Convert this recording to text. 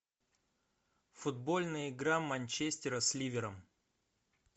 футбольная игра манчестера с ливером